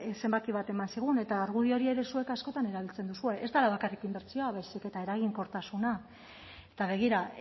zenbaki bat eman zigun eta argudio hori ere zuek askotan erabiltzen duzue ez dela bakarrik inbertsioa baizik eta eraginkortasuna eta begira